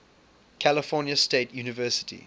california state university